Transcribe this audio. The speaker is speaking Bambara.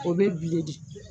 O be bile di